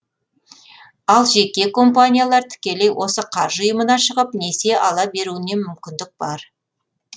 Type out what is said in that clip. ал жеке компаниялар тікелей осы қаржы ұйымына шығып несие ала беруіне мүмкіндік бар